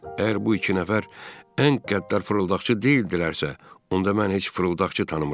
Əgər bu iki nəfər ən qəddar fırıldaqçı deyildilərsə, onda mən heç fırıldaqçı tanımıram.